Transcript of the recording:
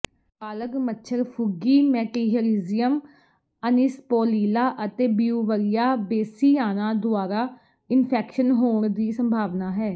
ਬਾਲਗ਼ ਮੱਛਰ ਫੁੱਗੀ Metarhizium anisopliae ਅਤੇ ਬਿਊਵਰੀਆ ਬੇਸੀਆਨਾ ਦੁਆਰਾ ਇਨਫੈਕਸ਼ਨ ਹੋਣ ਦੀ ਸੰਭਾਵਨਾ ਹੈ